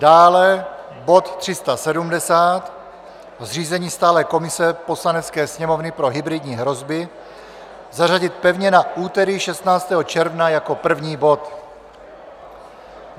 dále bod 370, zřízení stálé komise Poslanecké sněmovny pro hybridní hrozby, zařadit pevně na úterý 16. června jako první bod;